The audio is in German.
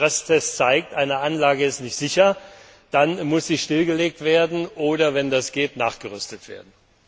Wenn der Stresstest zeigt, eine Anlage ist nicht sicher, dann muss sie stillgelegt oder wenn das geht nachgerüstet werden.